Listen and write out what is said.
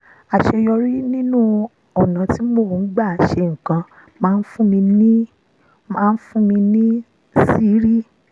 àṣeyọrí nínú ọ̀nà tí mo gbà ń ṣe nǹkan máa ń fún mi fún mi níṣìírí